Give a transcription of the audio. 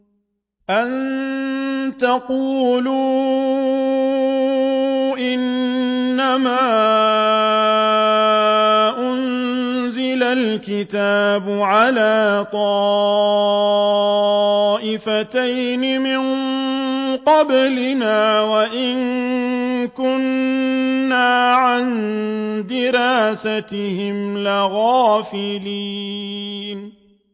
أَن تَقُولُوا إِنَّمَا أُنزِلَ الْكِتَابُ عَلَىٰ طَائِفَتَيْنِ مِن قَبْلِنَا وَإِن كُنَّا عَن دِرَاسَتِهِمْ لَغَافِلِينَ